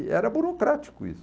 E era burocrático isso.